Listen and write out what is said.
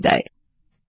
শুভবিদায়